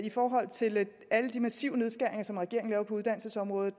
i forhold til alle de massive nedskæringer som regeringen laver på uddannelsesområdet